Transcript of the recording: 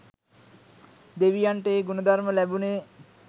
දෙවියන්ට ඒ ගුණ ධර්ම ලැබුණේ